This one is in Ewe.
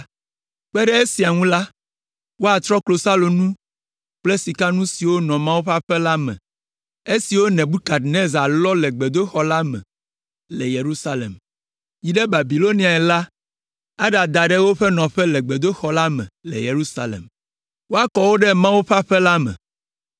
Kpe ɖe esia ŋu la, woatrɔ klosalonu kple sikanu siwo nɔ Mawu ƒe aƒe la me, esiwo Nebukadnezar lɔ le gbedoxɔ la me le Yerusalem, yi ɖe Babiloniae la aɖada ɖe wo nɔƒe le gbedoxɔ la me le Yerusalem; woakɔ wo ɖe Mawu ƒe aƒe la me.